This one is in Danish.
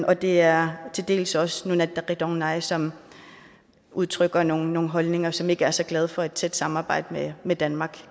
og det er til dels også nunatta qitornai som udtrykker nogle holdninger og som ikke er så glad for et tæt samarbejde med danmark